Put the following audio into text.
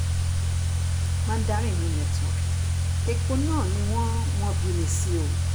mandarin no network èkó náà ni wọ́n wọ́n bí mi sí o